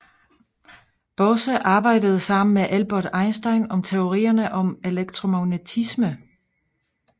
Bose arbejdede sammen med Albert Einstein om teorier om elektromagnetisme